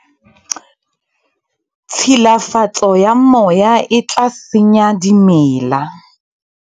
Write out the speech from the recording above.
tshilafatso ya moya e tla senya dimela